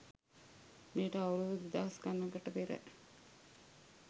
මෙයට අවුරුදු දෙදහස් ගණනකට පෙර